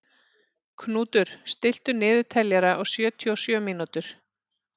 Knútur, stilltu niðurteljara á sjötíu og sjö mínútur.